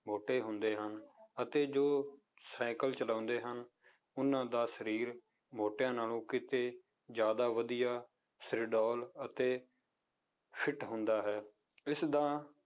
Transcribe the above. ਮੋਟੇ ਹੁੰਦੇ ਹਨ, ਅਤੇ ਜੋ ਸਾਇਕਲ ਚਲਾਉਂਦੇ ਹਨ, ਉਹਨਾਂ ਦਾ ਸਰੀਰ ਮੋਟਿਆਂ ਨਾਲੋਂ ਕਿਤੇ ਜ਼ਿਆਦਾ ਵਧੀਆ ਸਿਰਡੋਲ ਅਤੇ fit ਹੁੰਦਾ ਹੈ, ਇਸਦਾ